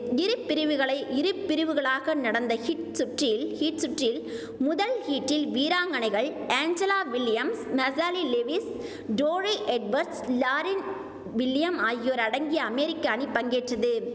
இரு பிரிவுகளை இரு பிரிவுகளாக நடந்த ஹீட் சுற்றில் ஹீட் சுற்றில் முதல் ஹீட்டில் வீராங்கனைகள் Angela Williams Mechelle Lewis Torri Edwards Lauryn William ஆகியோர் அடங்கிய அமேரிக்கா அணி பங்கேற்றது